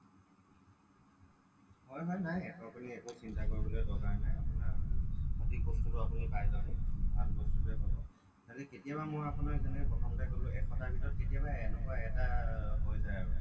হয় হয় নাই আপুনি একো চিন্তা কৰিব লগা দৰকাৰ নাই আপোনাৰ সঠিক বস্তুটো আপুনি পাই যাব ভাল বস্তুটোৱে পাব তাতে কেতিয়াবা মই যেনেকে আপোনাক কলোঁ এশটাৰ ভিতৰত কেতিয়াবা এনেকুৱা এটা হৈ যায় আৰু